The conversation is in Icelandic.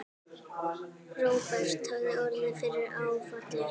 Róbert hafði orðið fyrir áfalli.